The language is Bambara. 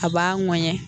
A b'a mɔɛɲɛ